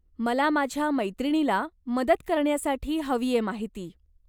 मला माझ्या मैत्रिणीला मदत करण्यासाठी हवीये माहिती.